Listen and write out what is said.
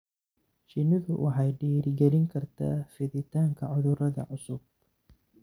Shinnidu waxay dhiirigelin kartaa fiditaanka cudurrada cusub.